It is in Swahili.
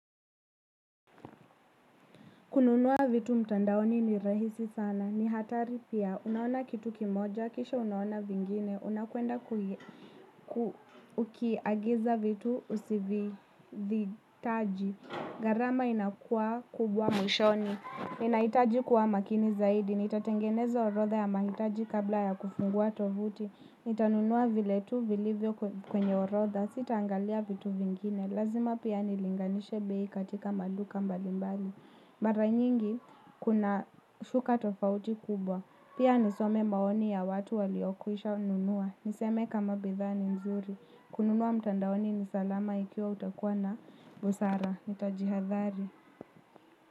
Kununua vitu mtandaoni ni rahisi sana. Ni hatari pia. Unaona kitu kimoja. Kisha unaona vingine. Unakwenda kukiagiza vitu usivihitaji. Gharama inakua kubwa mwishoni. Ninahitaji kuwa makini zaidi, nitatengeneza orotha ya mahitaji kabla ya kufungua tovuti. Nitanunua vile tu vilivyo kwenye orotha, sitaangalia vitu vingine. Lazima pia nilinganishe bei katika maduka mbalimbali. Mara nyingi kuna usuka tofauti kubwa. Pia nisome maoni ya watu waliokwisha nunua. Niseme kama bidhaa ni nzuri. Kununua mtandaoni ni salama ikiwa utakuwa na busara. Nitajihathari.